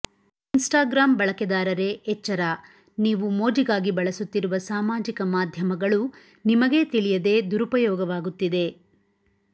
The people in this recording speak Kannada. ಇನ್ಸ್ಟಾಗ್ರಾಮ್ ಬಳಕೆದಾರರೇ ಎಚ್ಚರ ನೀವು ಮೋಜಿಗಾಗಿ ಬಳಸುತ್ತಿರುವ ಸಾಮಾಜಿಕ ಮಾಧ್ಯಮಗಳು ನಿಮಗೇ ತಿಳಿಯದೇ ದುರುಪಯೋಗವಾಗುತ್ತಿದೆ